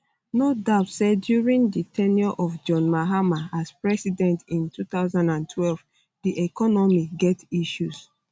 no doubt say during di ten ure of john mahama as president in 2012 di economy get issues